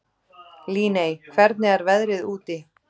Líney, hvernig er veðrið úti?